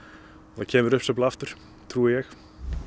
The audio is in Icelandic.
það kemur uppsveifla aftur trúi ég